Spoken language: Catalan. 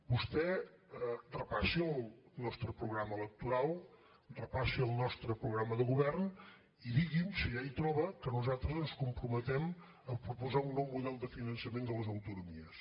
vostè repassi el nostre programa electoral repassi el nostre programa de govern i digui’m si allà hi troba que nosaltres ens comprometem a proposar un nou model de finançament de les autonomies